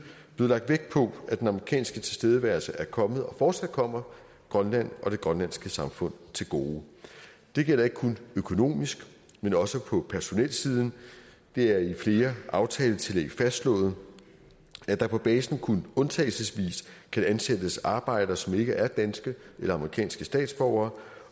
lagt vægt på at den amerikanske tilstedeværelse er kommet og fortsat kommer grønland og det grønlandske samfund til gode det gælder ikke kun økonomisk men også på personelsiden det er i flere aftaletillæg fastslået at der på basen kun undtagelsesvis kan ansættes arbejdere som ikke er danske eller amerikanske statsborgere